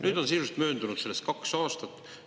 Nüüd on sisuliselt möödunud sellest kaks aastat.